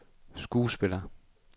skuespiller